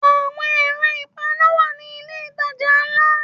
Àwọn ẹ̀rọ ìpaná wà ní ilé ìtajà ńlá yí.